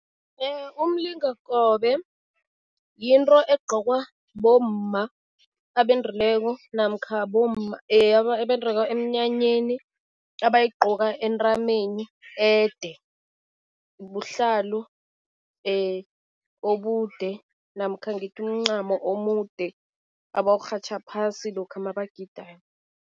Umlingakobe yinto egqokwa bomma abendileko namkha bomma emnyanyeni, abayigqoka entameni, ede. Buhlalu obude namkha ngithi umncamo omude abawurhatjha phasi lokha mabagidayo.